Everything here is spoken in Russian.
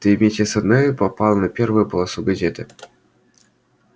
ты вместе со мной попал на первую полосу газеты